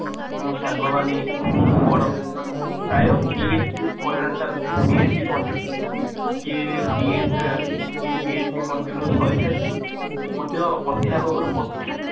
ଆମ ସାଙ୍ଗ ମାନେ ବଡ ଭାଇ ମାନେ ସିଏ କରିସାରିଛି ମଧ୍ୟ ଅଧ୍ୟାପକ